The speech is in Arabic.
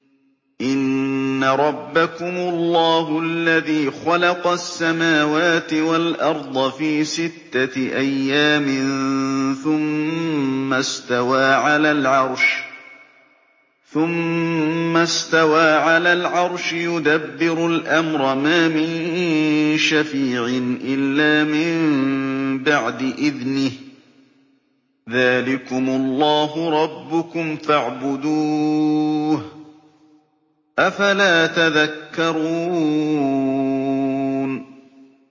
إِنَّ رَبَّكُمُ اللَّهُ الَّذِي خَلَقَ السَّمَاوَاتِ وَالْأَرْضَ فِي سِتَّةِ أَيَّامٍ ثُمَّ اسْتَوَىٰ عَلَى الْعَرْشِ ۖ يُدَبِّرُ الْأَمْرَ ۖ مَا مِن شَفِيعٍ إِلَّا مِن بَعْدِ إِذْنِهِ ۚ ذَٰلِكُمُ اللَّهُ رَبُّكُمْ فَاعْبُدُوهُ ۚ أَفَلَا تَذَكَّرُونَ